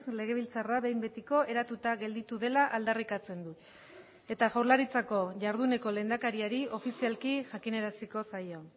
legebiltzarra behin betiko eratuta gelditu dela aldarrikatzen dut eta jaurlaritzako jarduneko lehendakariari ofizialki jakinaraziko zaio